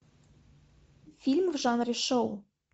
фильм в жанре шоу